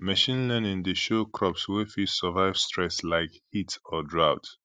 machine learning dey show crops wey fit survive stress like heat or drought